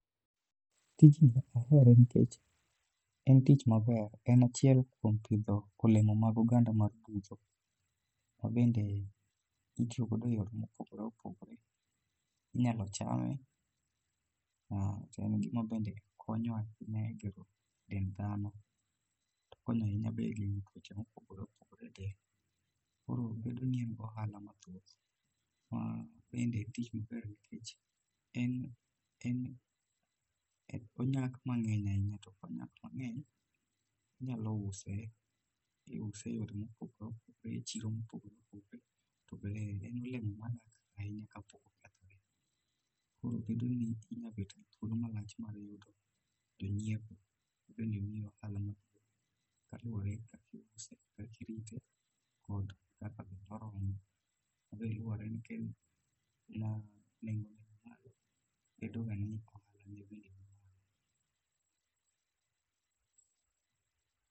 tijni ahere nikech en tich maber, en achiel kuom pidho olemo mag oganda mar budho mabende itiyo godo eyore mopogore opogore, inyalo chame kendo en gima bende konyo ahinya e gero dend dhano. Okonyo ahinya bee egengo tuoche mopogore opogore ahinya e del koro bedo ni en gi ohalo mathoth. ma ende en tich maber nikech onyak mang'eny ahinya to ka onyak mangeny to inyalo use. iuse e yore mopogore opogore e chiro mopogore opogore to bende en olemo madak ahinya ka pok okethore koro bedo ni inyalo betgi thuolo malach mar yudo jonyiepo ,bedoni omii ohalo mathoth ka luwore gi kaka iuse, kak irite ,kod kaka bende oromo ma be luwore ni kaen ma nengo ne ni malo, bedo ga ni ohala ne bende ni malo.